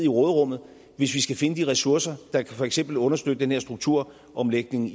råderummet hvis vi skal finde de ressourcer der for eksempel kan understøtte den her strukturomlægning